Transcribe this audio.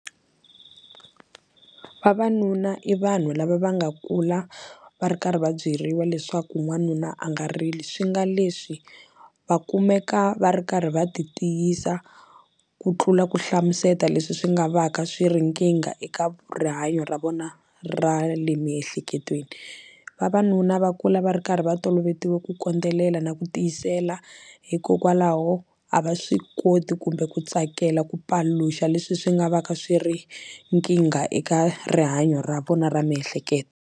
Vavanuna i vanhu lava va nga kula va ri karhi va byeriwa leswaku n'wanuna a nga rili swi nga leswi va kumeka va ri karhi va ti tiyisa ku tlula ku hlamuseta leswi swi nga va ka swi ri nkingha eka rihanyo ra vona ra le miehleketweni vavanuna va kula va ri karhi va tolovetiwe ku kondelela na ku tiyisela hikokwalaho a va swi koti kumbe ku tsakela ku paluxa leswi swi nga va ka swi ri nkingha eka rihanyo ra vona ra miehleketo.